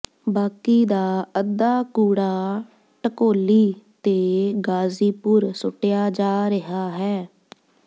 ਬਾਕੀ ਦਾ ਅੱਧਾ ਕੂੜਾ ਢਕੋਲੀ ਤੇ ਗਾਜ਼ੀਪੁਰ ਸੁੱਟਿਆ ਜਾ ਰਿਹਾ ਹੈ